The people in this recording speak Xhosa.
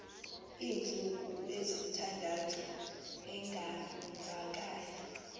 iintsuku ezintathu engavakali